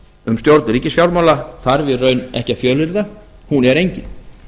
um stjórn ríkisfjármála þarf í raun ekki að fjölyrða hún er engin